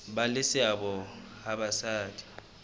ba le seabo ha basadi